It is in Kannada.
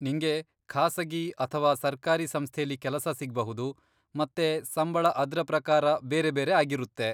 ನಿಂಗೆ ಖಾಸಗಿ ಅಥವಾ ಸರ್ಕಾರಿ ಸಂಸ್ಥೆಲಿ ಕೆಲಸ ಸಿಗ್ಬಹುದು, ಮತ್ತೆ ಸಂಬಳ ಅದ್ರ ಪ್ರಕಾರ ಬೇರೆ ಬೇರೆ ಆಗಿರುತ್ತೆ.